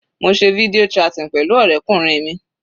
Mo se video chatting pẹ̀lú ọ̀rẹ́kùnrin mi.